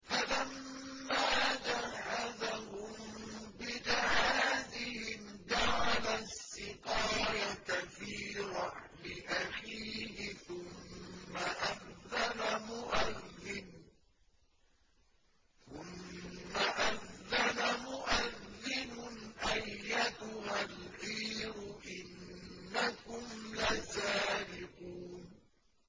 فَلَمَّا جَهَّزَهُم بِجَهَازِهِمْ جَعَلَ السِّقَايَةَ فِي رَحْلِ أَخِيهِ ثُمَّ أَذَّنَ مُؤَذِّنٌ أَيَّتُهَا الْعِيرُ إِنَّكُمْ لَسَارِقُونَ